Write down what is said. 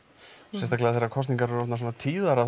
sérstaklega þegar kosningar eru orðnar svona tíðar að